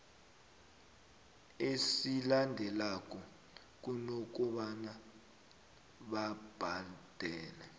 esilandelanako kunokobana babhadele